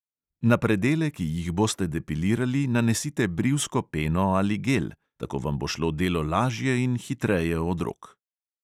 Na predele, ki jih boste depilirali, nanesite brivsko peno ali gel, tako vam bo šlo delo lažje in hitreje od rok.